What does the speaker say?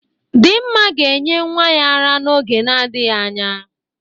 Dinma ga-enye nwa ya ara n'oge na-adịghị anya.